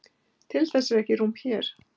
Til þess er ekki rúm hér.